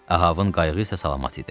Ahavın qayığı isə salamat idi.